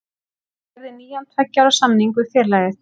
Hann gerði nýjan tveggja ára samning við félagið.